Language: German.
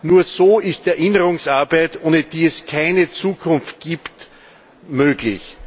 Nur so ist Erinnerungsarbeit ohne die es keine Zukunft gibt möglich.